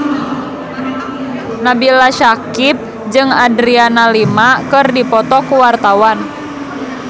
Nabila Syakieb jeung Adriana Lima keur dipoto ku wartawan